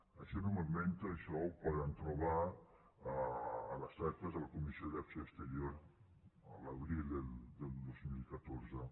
això no m’ho invento això ho poden trobar a les actes de la comissió d’acció exterior l’abril del dos mil catorze